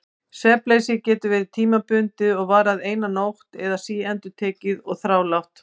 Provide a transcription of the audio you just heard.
Svefnleysið getur verið tímabundið og varað eina nótt eða síendurtekið og þrálátt.